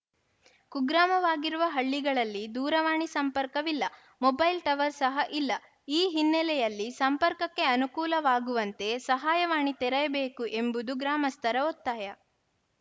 ಕುಗ್ರಾಮವಾಗಿರುವ ಹಳ್ಳಿಗಳಲ್ಲಿ ದೂರವಾಣಿ ಸಂಪರ್ಕವಿಲ್ಲ ಮೊಬೈಲ್‌ ಟವರ್‌ ಸಹ ಇಲ್ಲ ಈ ಹಿನ್ನೆಲೆಯಲ್ಲಿ ಸಂಪರ್ಕಕ್ಕೆ ಅನುಕೂಲವಾಗುವಂತೆ ಸಹಾಯವಾಣಿ ತೆರೆಯಬೇಕು ಎಂಬುದು ಗ್ರಾಮಸ್ಥರ ಒತ್ತಾಯ